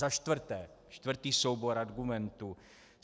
Za čtvrté, čtvrtý soubor argumentů.